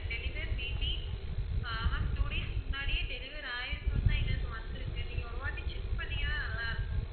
deliver maybe ah ma'am two days முன்னாடியே deliver ஆயிருக்குன்னு தான் எங்களுக்கு வந்துருக்கு, நீங்க ஒரு வாட்டி check பண்ணீங்கன்னா நல்லா இருக்கும்.